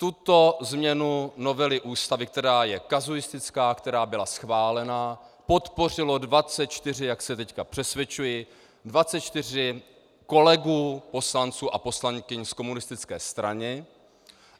Tuto změnu novely Ústavy, která je kazuistická, která byla schválena, podpořilo 24, jak se teď přesvědčuji, 24 kolegů poslanců a poslankyň z komunistické strany.